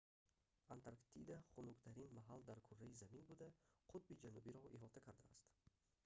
антарктида хунуктарин маҳал дар кӯраи замин буда қутби ҷанубиро иҳота кардааст